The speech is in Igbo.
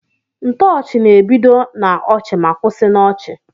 Ntoochi na ebido na ọchi ma kwụsi na ọchi.